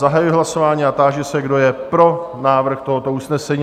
Zahajuji hlasování a táži se, kdo je pro návrh tohoto usnesení?